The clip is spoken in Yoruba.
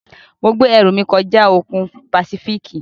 Mo gbẹ́ ẹrù mí kọjá òkun Pàsífíìkì.